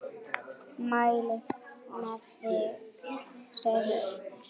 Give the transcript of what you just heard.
Mæli með þeim, segir Auður.